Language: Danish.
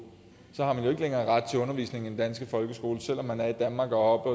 så har man ikke længere ret til undervisning i den danske folkeskole selv om man er i danmark og